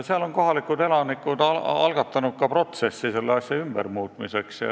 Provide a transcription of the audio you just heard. Seal on kohalikud elanikud algatanud ka protsessi selle asja ümbermuutmiseks.